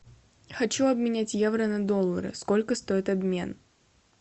хочу обменять евро на доллары сколько стоит обмен